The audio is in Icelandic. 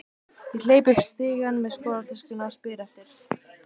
Ég hleyp upp stigann með skólatöskuna og spyr eftir